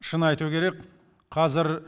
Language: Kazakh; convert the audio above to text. шын айту керек қазір